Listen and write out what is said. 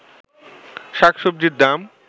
শাক-সবজির দাম